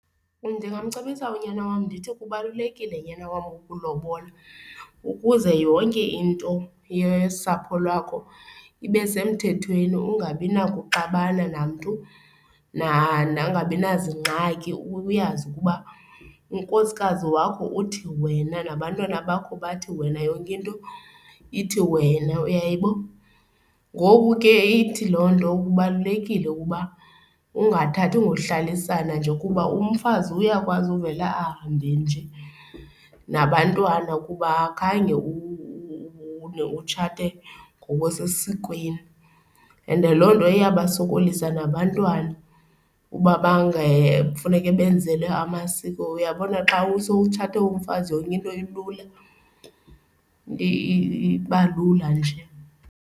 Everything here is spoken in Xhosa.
Ndingamcebisa unyana wam ndithi kubalulekile nyana wam ukulobola ukuze yonke into yosapho lwakho ibe semthethweni, ungabi nakuxabana namntu nakungabi naziingxaki, uyazi ukuba unkosikazi wakho uthi wena nabantwana bakho bathi wena yonke into ithi wena. Uyayibo? Ngoku ke ithi loo nto kubalulekile ukuba ungathathi ngohlalisana nje ukuba umfazi uyakwazi uvele ahambe nje nabantwana ukuba khange utshate ngokusesikweni and loo nto iyabasokolisa nabantwana uba kufuneke benzelwe amasiko. Uyabona xa sowutshate umfazi yonke into ilula, iba lula nje.